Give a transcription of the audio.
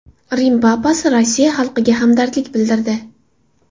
Rim papasi Rossiya xalqiga hamdardlik bildirdi.